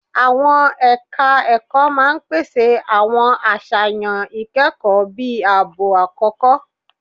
Àwọn ẹ̀ka ẹ̀kọ́ máa pèsè àwọn àṣàyàn ìkẹ́kọ̀ọ́ bíi ààbọ̀ àkókò.